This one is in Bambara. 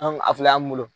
An a filɛ an mi bolo